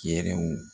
Yɛrɛw